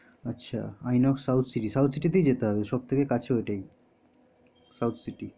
আচ্ছা southcity তেই যেতে হবে সব থেকে কাছে ওটাই southcity